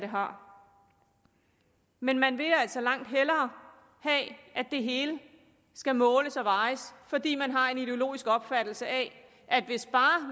har men man vil altså langt hellere have at det hele skal måles og vejes fordi man har en ideologisk opfattelse af at hvis